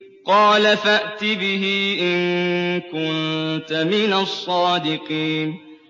قَالَ فَأْتِ بِهِ إِن كُنتَ مِنَ الصَّادِقِينَ